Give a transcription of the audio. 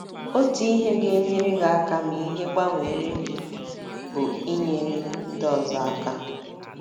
Otu ihe ga - enyere gị aka ma ihe gbanweere gị bụ inyere ndị ọzọ aka.